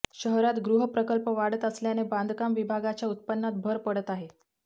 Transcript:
शहरात गृहप्रकल्प वाढत असल्याने बांधकाम विभागाच्या उत्पन्नात भर पडत आहे